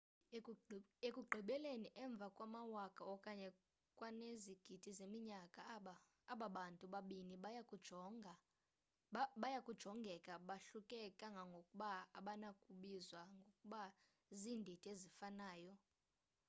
ekugqibeleni emva kwamawaka okanye kwanezigidi zeminyaka aba bantu babini baya kujongeka bahluke kangangokuba abanakubizwa ngokuba ziindidi ezifanayo